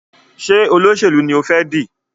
Ṣe Olóṣèlú ní o fè di?